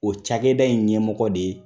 O cakɛda in ɲɛmɔgɔ de ye